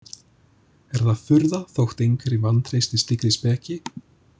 Er það furða þótt einhverjir vantreysti slíkri speki?